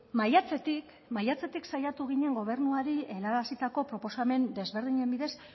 maiatzetik maiatzetik saiatu ginen gobernuari helarazitako proposamen desberdinen bidez